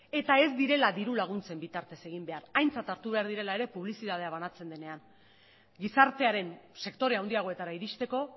eta ez direla diru laguntzen bitartez egin behar aintzat hartu behar direla ere publizitatea banatzen denean gizartearen sektore handiagoetara iristeko